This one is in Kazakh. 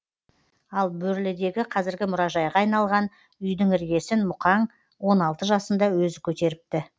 ал бөрлідегі қазіргі мұражайға айналған үйдің іргесін мұқаң он алты жасында өзі көтеріпті